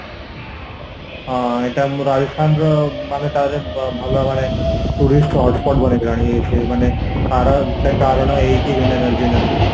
ହଁ ଏଇଟା ମୁଁ ରାଜସ୍ଥାନର ମାନେ ତାହିଁର ଭଲ ମାନେ tourist hotspot ବନିଗଲାଣି ସେ ମାନେ ତାର ଗୋଟେ କାରଣ ଏଇକି Vendor energy ପାଇଁ